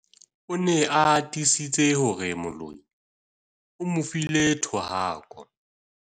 o ne a tiisitse hore moloi o mo file thohako